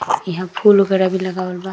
इहा फूल वगैरा भी लगावल बा।